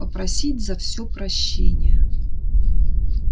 попросить за все прощения